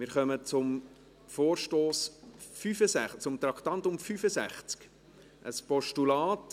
Wir kommen zu Traktandum 65, einem Postulat.